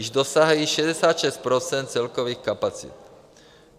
Již dosáhly 66 % celkových kapacit.